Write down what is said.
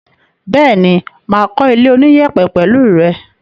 Bẹ́ẹ̀ni, mà á kó ilé oníyẹ̀pẹ̀ pẹ̀lẹ́ rẹ.